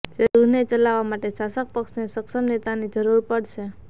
ત્યારે ગૃહને ચલાવવા માટે શાસક પક્ષને સક્ષમ નેતાની જરૂર પડશે